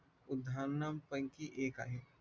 उद्यानांपैकी एक आहे